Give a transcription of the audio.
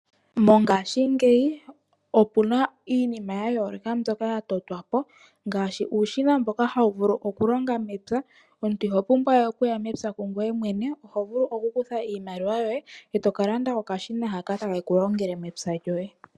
Mongashingeyi opuna iinima ya yoloka mbyoka ya totwapo ngaashi uushina mboka hawu vulu oku longa mepya. Omuntu ino pumbwa we okuya mepya gweye mwene oho vulu oku kutha iimaliwa yoye etoka landa okashina haka takeku longele mepya lyoye.